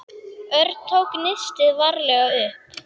Örn tók nistið varlega upp.